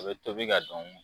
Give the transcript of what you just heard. A bɛ tobi ka dun